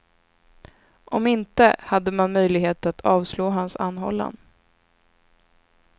Om inte, hade man möjlighet att avslå hans anhållan.